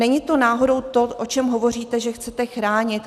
Není to náhodou to, o čem hovoříte, že chcete chránit?